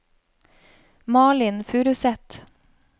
Malin Furuseth